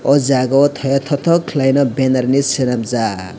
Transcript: o jaga o teya totok kelaima benner hinui selamjak.